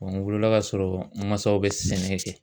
Bɔn n wolola k'a sɔrɔ n masaw be sɛnɛ kɛ